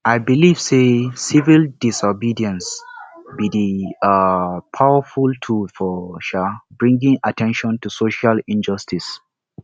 i dey believe say civil disobedience be di um powerful tool for um bringing at ten tion to social injustices